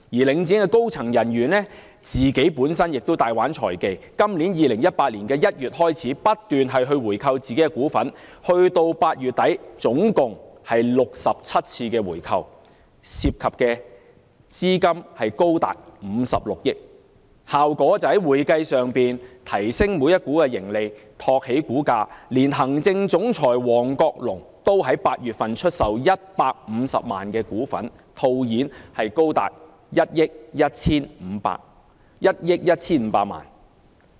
領展的高層人員本身亦大玩財技，在今年2018年1月起，不斷回購自己的股份，直至8月底總共作出了67次回購，涉及資金高達56億元，效果就是在會計上提升了每股盈利，托起股價，連行政總裁王國龍亦在8月份出售了150萬股，套現高達1億 1,500 萬元。